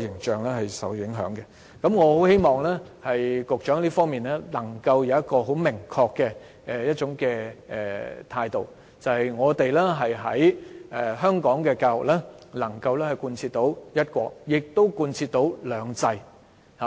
形象受到影響，我希望教育局局長在這方面能夠展現明確的態度，顯示香港的教育既能貫徹"一國"，亦能貫徹"兩制"。